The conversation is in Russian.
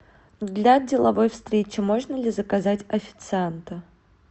для деловой встречи можно ли заказать официанта